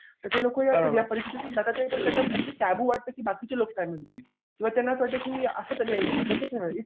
ते ते लोकं पण या परिस्थितीतून जातात ते पण त्यांना असे वाटते की बाकीचे लोक काय म्हणतील? किंवा त्यांना असं वाटतं की असं तर नाही होणार तसं तर नाही होणार.